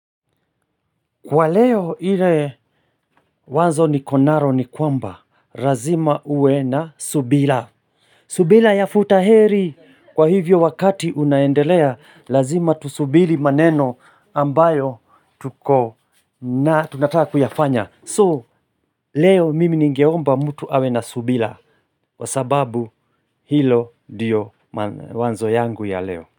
Kwa leo ile wazo ni konaro ni kwamba, razima uwe na subila. Subila ya futa heri, kwa hivyo wakati unaendelea, lazima tusubiri maneno ambayo tuko na tunataka kuyafanya. So, leo mimi ningeomba mtu awe na subila, wasababu hilo ndiyo wazo yangu ya leo.